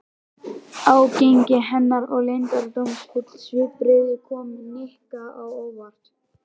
Ágengni hennar og leyndardómsfull svipbrigði komu Nikka á óvart.